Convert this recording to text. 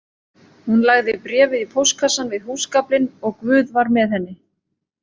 Hún lagði bréfið í póstkassann við húsgaflinn og Guð var með henni